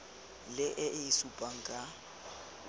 le e e supang ka